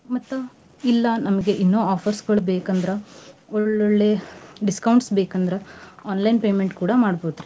ಮತ್ತ್ ಇಲ್ಲಾ ನಮ್ಗ ಇನ್ನೂ offers ಗಳು ಬೇಕಂದ್ರ ಒಳ್ಳೊಳ್ಳೆ discounts ಬೇಕಂದ್ರ online payment ಕೂಡಾ ಮಾಡ್ಬೋದ್ರಿ.